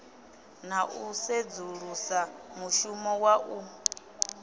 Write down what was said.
na u sedzulusa mushumo waṋu